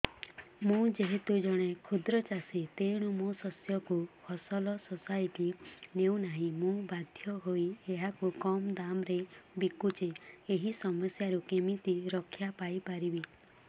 ମୁଁ ଯେହେତୁ ଜଣେ କ୍ଷୁଦ୍ର ଚାଷୀ ତେଣୁ ମୋ ଶସ୍ୟକୁ ଫସଲ ସୋସାଇଟି ନେଉ ନାହିଁ ମୁ ବାଧ୍ୟ ହୋଇ ଏହାକୁ କମ୍ ଦାମ୍ ରେ ବିକୁଛି ଏହି ସମସ୍ୟାରୁ କେମିତି ରକ୍ଷାପାଇ ପାରିବି